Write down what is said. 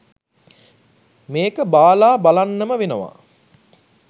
මේක බාලා බලන්නම වෙනවා.